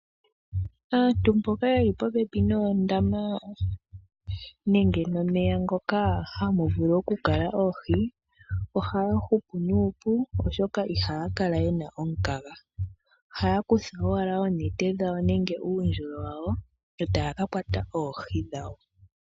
Aantu mboka yeli popepi noondama nenge nomeya ngoka hamu vulu okukala oohi ohaya hupu nuupu oshoka ihaya kala yena omukaga, ohaya kutha owala oonete dhawo nenge oondjolo wawo etaya kakwata oohi dhawo.